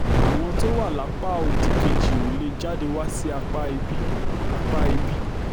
àwọn tó wà lápá òdì kejì ò lè wá sí apá ibi apá ibi